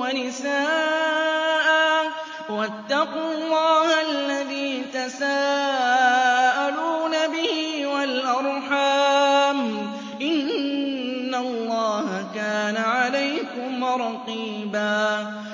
وَنِسَاءً ۚ وَاتَّقُوا اللَّهَ الَّذِي تَسَاءَلُونَ بِهِ وَالْأَرْحَامَ ۚ إِنَّ اللَّهَ كَانَ عَلَيْكُمْ رَقِيبًا